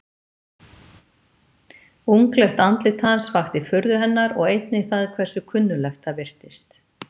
Unglegt andlit hans vakti furðu hennar og einnig það hversu kunnuglegt það virtist.